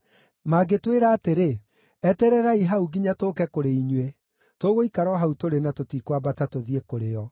Mangĩtwĩra atĩrĩ, ‘Etererai hau nginya tũũke kũrĩ inyuĩ,’ tũgũikara o hau tũrĩ na tũtikwambata tũthiĩ kũrĩ o.